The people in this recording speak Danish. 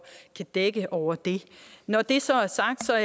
kan dække over det når det så er sagt er